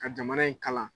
Ka jamana in kalan